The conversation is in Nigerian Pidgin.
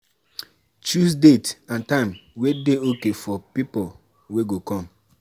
Consider things like food and like food and drinks wey you go serve